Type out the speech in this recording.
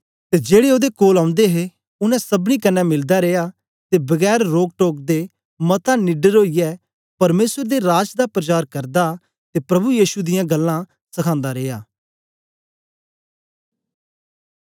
ते जेड़े ओदे कोल औंदे हे उनै सबनीं कन्ने मिलदा रिया ते बगैर रोक टोक दे मता निडर ओईयै परमेसर दे राज दा प्रचार करदा ते प्रभु यीशु मसीह दियां गल्लां सखांदा रिया